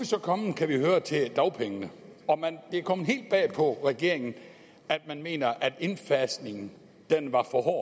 så kommet kan vi høre til dagpengene og det er kommet helt bag på regeringen at man mener at indfasningen var for hård